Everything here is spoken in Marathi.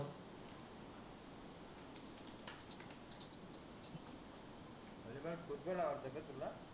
आरे वा फुटबॉल आवडतो का तुला?